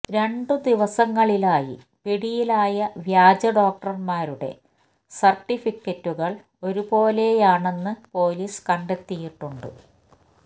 രണ്ടു ദിവസങ്ങളിലായി പിടിയിലായ വ്യാജ ഡോക്ടര്മാരുടെ സര്ട്ടിഫിക്കറ്റുകള് ഒരുപോലെയാണെന്ന് പൊലീസ് കണ്ടെത്തിയിട്ടുണ്ട്